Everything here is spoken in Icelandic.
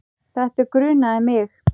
Þetta grunaði mig.